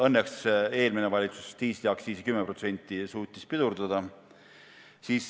Õnneks suutis eelmine valitsus diisliaktsiisi 10% tõusu pidurdada.